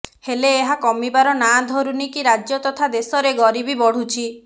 ହେଲେ ଏହା କମିବାର ନାଁ ଧରୁନି କି ରାଜ୍ୟ ତଥା ଦେଶରେ ଗରିବି ବଢ଼ୁଛି